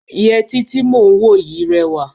Yẹtí tí mò ń wò yìí rẹwà.